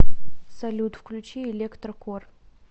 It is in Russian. салют включи электрокор